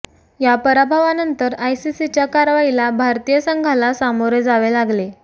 या पराभवानंतर आयसीसीच्या कारवाईला भारतीय संघाला सामोरे जावे लागले